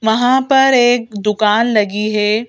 वहां पर एक दुकान लगी है।